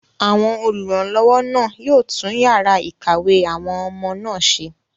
àwọn olùrànlọ́wọ́ náà yóò tún yàrá ìkàwé àwọn ọmọ náà ṣe